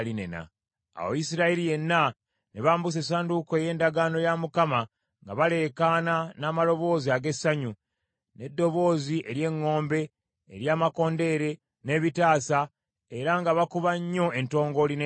Awo Isirayiri yenna ne bambusa essanduuko ey’endagaano ya Mukama nga baleekaana n’amaloboozi ag’essanyu, n’eddoboozi ery’eŋŋombe, ery’amakondeere, n’ebitaasa, era nga bakuba nnyo entongooli n’ennanga.